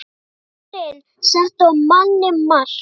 Kjörin settu á manninn mark